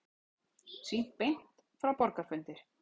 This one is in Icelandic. Sýnt beint frá borgarafundi